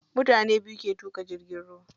Mutane biyu ke tuƙa jirgin ruwa.